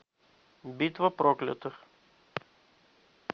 битва проклятых